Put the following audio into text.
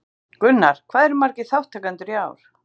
Gunnar, hvað eru margir þátttakendur í ár?